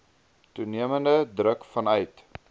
toenemende druk vanuit